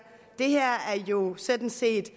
jo sådan set